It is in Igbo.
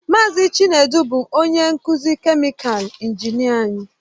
Mazị Chinedu bụ onye nkuzi kèmikal injinịa anyị